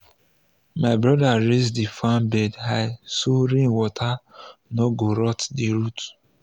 my brother raise the farm bed high so rain water no go rot the root.